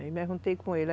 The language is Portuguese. Aí me juntei com ele.